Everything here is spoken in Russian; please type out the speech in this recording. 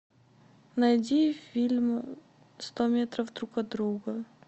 найди фильм сто метров друг от друга